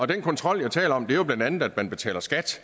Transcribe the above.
den kontrol jeg taler om er jo blandt andet af at man betaler skat